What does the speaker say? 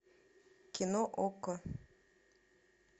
кино окко